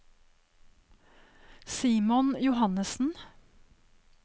Simon Johannesen